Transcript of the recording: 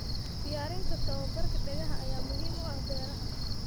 Diyaarinta tababbarka dhagaxa ayaa muhiim u ah beeraha.